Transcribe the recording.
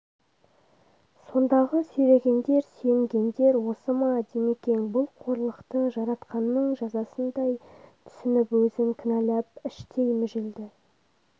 сондағы сүйрегендер сүйенгендер осы ма димекең бұл қорлықты жаратқанның жазасындай түснп өзн кінәлап іштей мүжілді